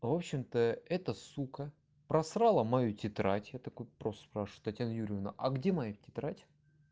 в общем-то эта сука просрала мою тетрадь я такой просто спрашиваю татьяна юрьевна а где моя тетрадь